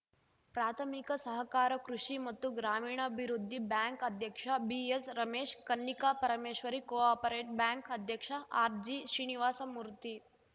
ಪ್ರಾಥಮಿಕ ಸಹಕಾರ ಕೃಷಿ ಮತ್ತು ಗ್ರಾಮೀಣಾಭಿವೃದ್ಧಿ ಬ್ಯಾಂಕ್‌ ಅಧ್ಯಕ್ಷ ಬಿಎಸ್‌ರಮೇಶ್‌ ಕನ್ನಿಕಾ ಪರಮೇಶ್ವರಿ ಕೋ ಆಪರೇಟ್ ಬ್ಯಾಂಕ್‌ ಅಧ್ಯಕ್ಷ ಆರ್‌ಜಿಶ್ರೀನಿವಾಸಮೂರ್ತಿ